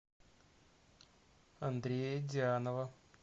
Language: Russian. андрея дианова